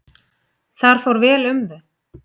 Þar fór vel um þau.